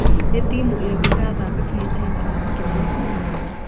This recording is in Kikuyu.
ni timu ĩrĩkũ irathaka kihitahitano kinene umuthi